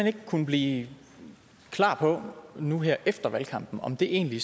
ikke kunnet blive klar på nu her efter valgkampen om det egentlig